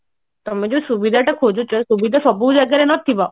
ତମେ ଯୋଉ ସୁବିଧା ଟା ଖୋଜୁଛ ସୁବିଧା ସବୁ ଜାଗାରେ ନଥିବ